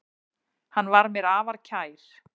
Hann var mér afar kær.